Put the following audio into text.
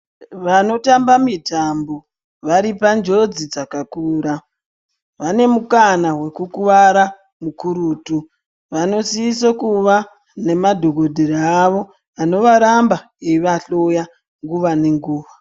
Vanotamba mitambo varipanjodzi dzakakura vanemukana wekukuvara kukurutu vanosise kuva nemadhokotera avo anovaramba eyivahloya nguva nenguva.